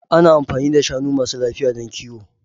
Ana amfani da shanu masu lafiya don kiwo.